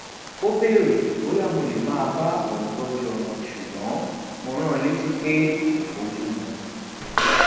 ó béèrè bóyá mo lè máa bá òun tójú ọmọ ṣùgbọn mo rán an létí pé kò bójú mu